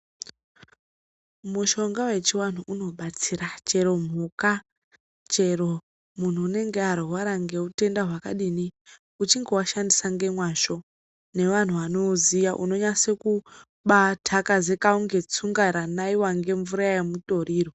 Mushonga wechiantu unobatsira chero mhuka chero munhu unenge arwara ngeutenda hwakadini uchinge waushandisa ngemwazvo nevanhu vanouziya unonyase kubaathakazeka kunge tsunga ranaiwa ngemvura yemutoriro.